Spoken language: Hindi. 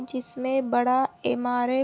जिसमे बड़ा एम_आर_एफ --